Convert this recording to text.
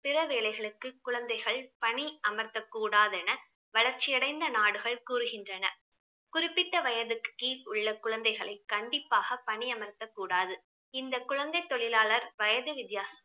பிற வேலைகளுக்கு குழந்தைகள் பணி அமர்த்தக் கூடாதென வளர்ச்சி அடைந்த நாடுகள் கூறுகின்றன குறிப்பிட்ட வயதுக்கு கீழ் உள்ள குழந்தைகளை கண்டிப்பாக பணியமர்த்தக் கூடாது இந்த குழந்தைத் தொழிலாளர் வயது வித்தியாசம்